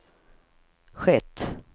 skett